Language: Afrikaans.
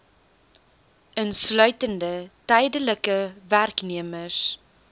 insluitende tydelike werknemers